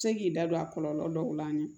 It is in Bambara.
Se k'i da don a kɔlɔlɔ dɔw la